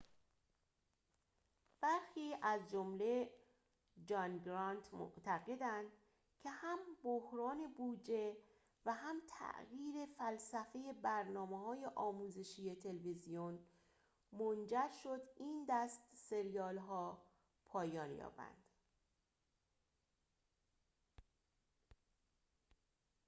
برخی از جمله جان گرانت معتقدند که هم بحران بودجه و هم تغییر فلسفه برنامه‌های آموزشی تلویزیون منجر شد این دست سریال‌ها پایان یابند